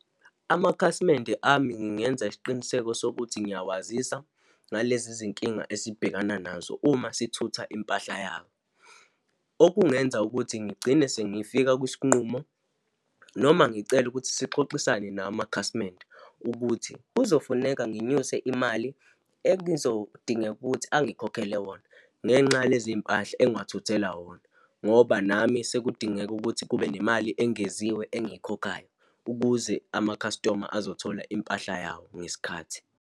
Amakhasimende ami ngingenza isiqiniseko sokuthi ngiyawazisa ngalezi zinkinga esibhekana nazo uma sithutha impahla yabo. Okungenza ukuthi ngigcine sengifika kwisinqumo noma ngicele ukuthi sixoxisane nawo amakhasimende ukuthi kuzofuneka nginyuse imali engizodingeka ukuthi angikhokhele wona ngenxa yalezimpahla engiwathuthela wona, ngoba nami sekudingeka ukuthi kube nemali engeziwe engiyikhokhayo, ukuze ama-customer azothola impahla yawo ngesikhathi.